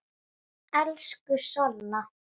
Elsku Solla.